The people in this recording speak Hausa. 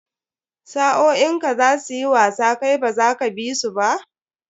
Sa'o'in ka za su yi wasa kai baza ka bi su ba?